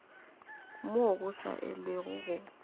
moo go sa elwego go